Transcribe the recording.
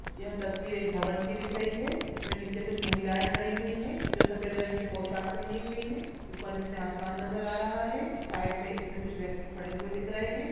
यह तस्वीर एक भवन की दिख रही है| इसमें नीचे कुछ महिलाएं खड़ी हुई है जो सफेद रंग की पोशाक पहनी हुई है| ऊपर इसमें आसमान नजर आ रहा है साइड में इसमें कुछ व्यक्ति खड़े हुए दिख रहे हैं।